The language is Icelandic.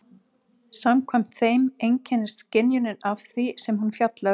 Samkvæmt þeim einkennist skynjunin af því sem hún fjallar um.